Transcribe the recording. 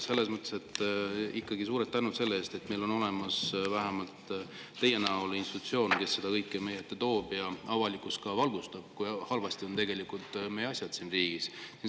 Selles mõttes ikkagi suured tänud selle eest, et meil on olemas vähemalt teie näol institutsioon, kes seda kõike meie ette toob ja avalikkust ka valgustab, kui halvasti meie asjad siin riigis tegelikult on.